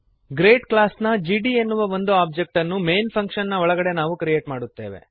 grade ಕ್ಲಾಸ್ನ GD ಎನ್ನುವ ಒಂದು ಒಬ್ಜೆಕ್ಟ್ ಅನ್ನು ಮೈನ್ ಫಂಕ್ಶನ್ ನ ಒಳಗಡೆ ನಾವು ಕ್ರಿಯೇಟ್ ಮಾಡುತ್ತೇವೆ